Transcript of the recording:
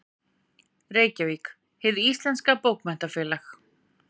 Reykjavík: Hið íslenska Bókmenntafélag.